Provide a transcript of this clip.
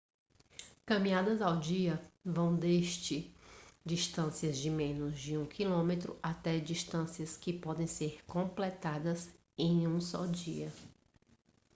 caminhadas ao dia vão desde distâncias de menos de um quilômetro até distâncias que podem ser completadas em um só dia